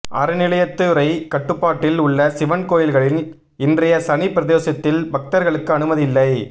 அறநிலையத்துறை கட்டுப்பாட்டில் உள்ள சிவன் கோயில்களில் இன்றைய சனி பிரதோஷத்தில் பக்தர்களுக்கு அனுமதியில்லை